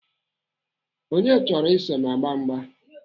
Onye chọrọ iso m agba mgba?